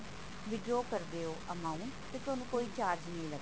withdraw ਕਰਦੇ ਹੋ amount ਤੇ ਤੁਹਾਨੂੰ ਕੋਈ charge ਨਹੀਂ ਲੱਗਦਾ